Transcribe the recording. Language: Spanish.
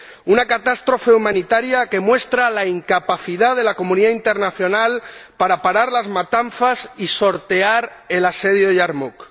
Una catástrofe humanitaria que muestra la incapacidad de la comunidad internacional para parar las matanzas y sortear el asedio a Yarmuk.